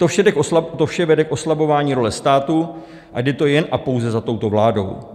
To vše vede k oslabování role státu a jde to jen a pouze za touto vládou.